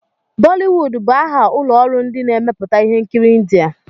Bọliwud bụ aha ụlọ ọrụ ndị na-emepụta ihe nkiri India.